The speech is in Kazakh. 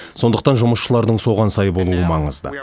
сондықтан жұмысшылардың соған сай болуы маңызды